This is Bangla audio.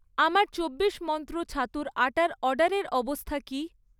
আমার চব্বিশ মন্ত্র ছাতুর আটার অর্ডারের অবস্থা কী?